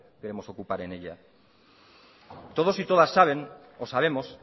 queremos ocupar en ella todos y todas sabemos que